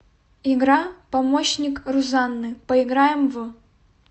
игра помощник рузанны поиграем в